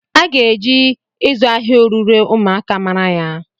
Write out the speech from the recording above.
A ga-eji ịzụ ahịa orure ụmụaka mara ya.